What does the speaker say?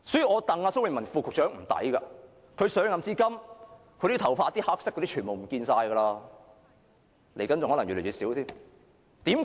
我替蘇偉文副局長感到不值，他上任至今，他的黑頭髮已不見了，未來更可能越來越少，為甚麼？